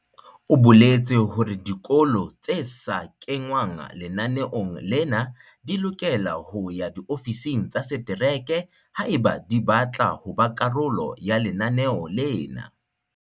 O boletse hore dikolo tse sa kengwang lenaneong lena di lokela ho ya diofising tsa setereke haeba di batla ho ba karolo ya lenaneo lena.